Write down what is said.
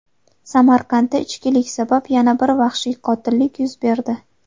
Samarqandda ichkilik sabab yana bir vahshiy qotillik yuz berdi.